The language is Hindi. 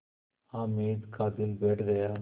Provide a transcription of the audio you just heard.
हामिद का दिल बैठ गया